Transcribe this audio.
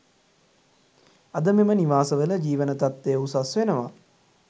අද මෙම නිවාස වල ජීවන තත්ත්වය උසස් වෙනවා